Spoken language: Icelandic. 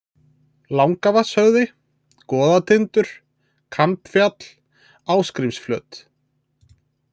Langavatnshöfði, Goðatindur, Kambfjall, Ásgrímsflöt